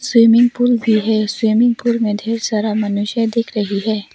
Swimming pool भी है swimming pool में ढेर सारा मनुष्य दिख रही है।